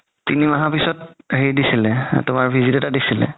তিনি মাহৰ পিছত হেৰি দিছিলে তুমাৰ visit এটা দিছিলে